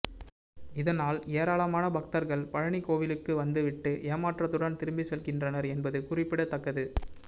இதனால் ஏராளமான பக்தர்கள் பழனி கோவிலுக்கு வந்து விட்டு ஏமாற்றத்துடன் திரும்பி செல்கின்றனர் என்பது குறிப்பிடத்தக்கது